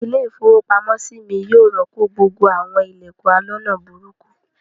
Ilé-ìfowópamọ́sí mi yóò rọ́pò gbogbo àwọn ilẹ̀kùn aloná burúkú.